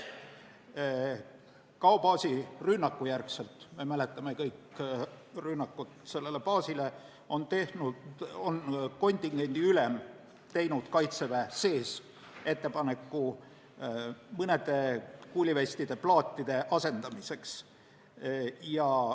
Pärast Gao baasi rünnakut, mida me kõik mäletame, tegi kontingendiülem Kaitseväe sees ettepaneku mõnede kuulivestide plaatide asendamiseks.